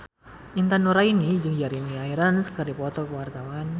Intan Nuraini jeung Jeremy Irons keur dipoto ku wartawan